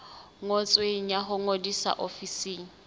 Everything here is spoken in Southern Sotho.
ngotsweng ya ho ngodisa ofising